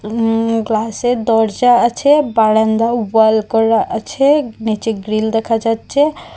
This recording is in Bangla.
উম গ্লাসের দরজা আছে বারান্দাও ওয়াল করা আছে নীচে গ্রীল দেখা যাচ্ছে।